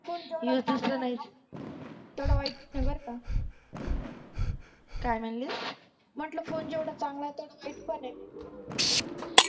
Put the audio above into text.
phone जेवड़ा चांगल आहे तेवढा वाईट पण आहे बर का काय म्हणलीस म्हटलं फोन जेवढा चांगल आहे तेवढा वाईट पण आहे